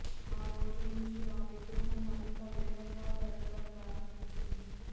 ఆ రోజు నుంచి ఆ విగ్రహం మరింత వేగంగా పెరగడం ప్రారంభించింది